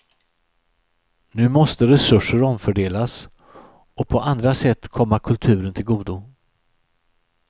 Nu måste resurser omfördelas och på andra sätt komma kulturen till godo.